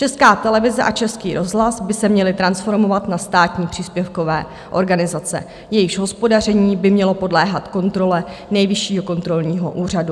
Česká televize a Český rozhlas by se měly transformovat na státní příspěvkové organizace, jejichž hospodaření by mělo podléhat kontrole Nejvyššího kontrolního úřadu.